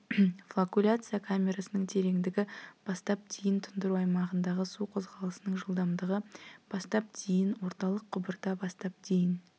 флокуляция камерасының тереңдігі бастап дейін тұндыру аймағындағы су қозғалысының жылдамдығы бастап дейін орталық құбырда бастап дейін